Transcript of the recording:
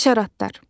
Həşəratlar.